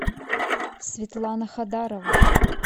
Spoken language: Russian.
светлана хадарова